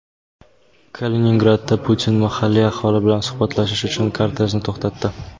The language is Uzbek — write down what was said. Kaliningradda Putin mahalliy aholi bilan suhbatlashish uchun kortejini to‘xtatdi.